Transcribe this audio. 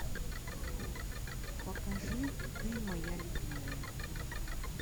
покажи ты моя любимая